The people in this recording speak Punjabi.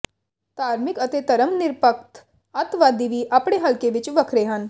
ਧਾਰਮਿਕ ਅਤੇ ਧਰਮ ਨਿਰਪੱਖ ਅੱਤਵਾਦੀ ਵੀ ਆਪਣੇ ਹਲਕੇ ਵਿੱਚ ਵੱਖਰੇ ਹਨ